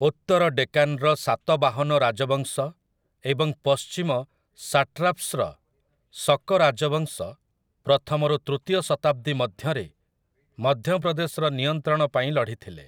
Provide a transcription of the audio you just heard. ଉତ୍ତର ଡେକାନ୍‍ର ସାତବାହନ ରାଜବଂଶ ଏବଂ ପଶ୍ଚିମ ସାଟ୍ରାପ୍‍ସ୍‍ର ସକ ରାଜବଂଶ ପ୍ରଥମରୁ ତୃତୀୟ ଶତାବ୍ଦୀ ମଧ୍ୟରେ ମଧ୍ୟପ୍ରଦେଶର ନିୟନ୍ତ୍ରଣ ପାଇଁ ଲଢ଼ିଥିଲେ ।